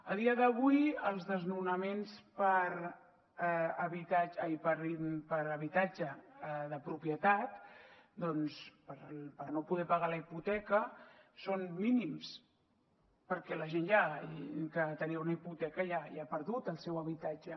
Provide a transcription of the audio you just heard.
a dia d’avui els desnonaments per habitatge de propietat doncs per no poder pagar la hipoteca són mínims perquè la gent que tenia una hipoteca ja ha perdut el seu habitatge